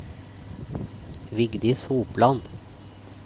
Vigdis Hopland